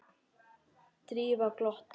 Drífa glotti.